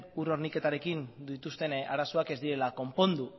ur horniketarekin dituzten arazoak ez direla konpondu